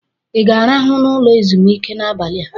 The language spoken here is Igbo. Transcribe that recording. ị ga-arahụ n'ụlọ ezumike a n'abalị a?